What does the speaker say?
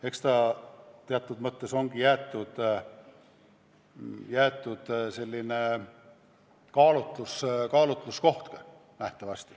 Eks teatud mõttes on valitsusele jäetud ka kaalutlusõigus.